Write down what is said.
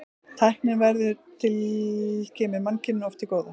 Tæknin sem verður til kemur mannkyninu oft til góða.